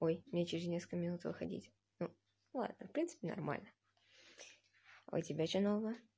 ой мне через несколько минут выходить ну ладно в принципе нормально а у тебя что нового